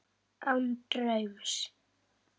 Án draums.